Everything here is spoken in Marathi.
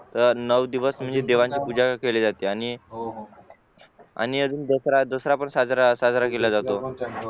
नऊ दिवस म्हणजे देवांची पूजा केली जाते आणि आणि अजून दसरा पण साजरा केला जातो